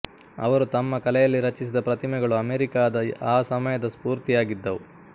ಅವರು ತಮ್ಮ ಕಲೆಯಲ್ಲಿ ರಚಿಸಿದ ಪ್ರತಿಮೆಗಳು ಅಮೇರಿಕಾದ ಆ ಸಮಯದ ಸ್ಪೂರ್ತಿಯಾಗಿದ್ದವು